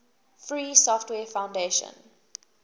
free software foundation